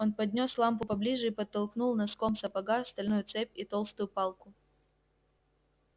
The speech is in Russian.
он поднёс лампу поближе и подтолкнул носком сапога стальную цепь и толстую палку